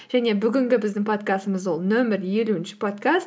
және бүгінгі біздің подкастымыз ол нөмір елуінші подкаст